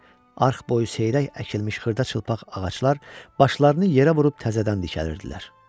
Arx boyu seyrək əkilmiş xırda çılpaq ağaclar başlarını yerə vurub təzədən dikəlirdilər.